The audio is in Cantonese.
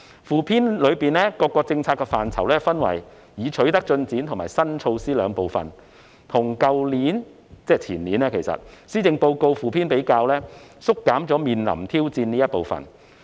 附篇將各個政策範疇分為已取得進展及新措施兩個部分，而與去年——其實即是前年——的附篇比較，每章縮減了"面臨挑戰"部分。